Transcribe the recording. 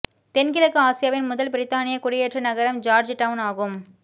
தென்கிழக்கு ஆசியாவின் முதல் பிரித்தானியக் குடியேற்ற நகரம் ஜார்ஜ் டவுன் ஆகும்